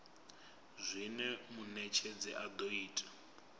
zwine munetshedzi a do ita